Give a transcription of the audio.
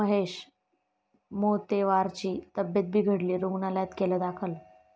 महेश मोतेवारची तब्येत बिघडली, रुग्णालयात केलं दाखल